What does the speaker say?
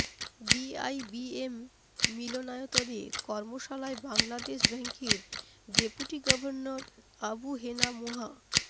BIBM মিলনায়তনে কর্মশালায় বাংলাদেশ ব্যাংকের ডেপুটি গভর্নর আবু হেনা মোহা